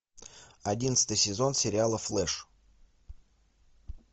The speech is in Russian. одиннадцатый сезон сериала флэш